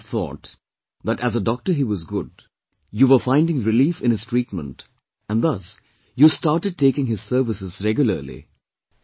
All of you would have thought that as a doctor he was good, you were finding relief in his treatment and thus you started taking his services regularly